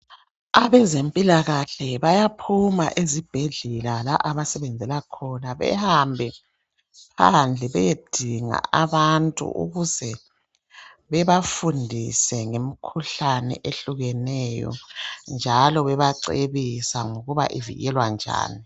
Abezempilakahle bayaphuma esibhedlela la abasebenzela khona behambe phandle beyedinga abantu ukuze bebafundise ngemkhuhlane ehlukeneyo njalo bebacebisa ngokuthi ivikelwa njani.